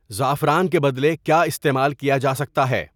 زعفران کے بدلے کیا استعمال کیا جا سکتا ہے